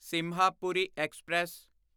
Sinhapuri express